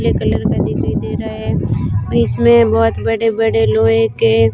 black colour का दिखाई दे रहा है बीच में बहोत बड़े बड़े लोहे के--